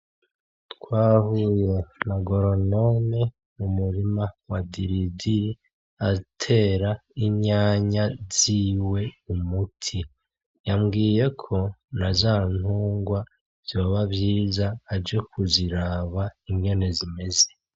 twahuye na goronome mu murima wa Diridiri atera itomati ziwe umuti yambwiyeko nazantungwa vyoba vyiza aje kuziraba ingene zimeze.